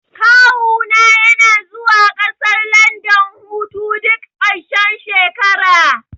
Kawu na yana zuwa ƙasar landan hutu duk ƙarshen shekara